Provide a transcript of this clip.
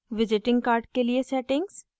visiting card के लिए settings